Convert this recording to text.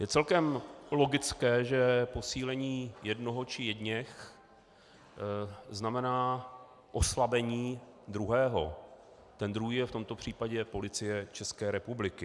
Je celkem logické, že posílení jednoho či jedněch znamená oslabení druhého, ten druhý je v tomto případě Policie České republiky.